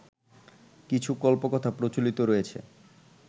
কিছু কল্পকথা প্রচলিত রয়েছে